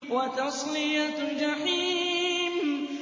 وَتَصْلِيَةُ جَحِيمٍ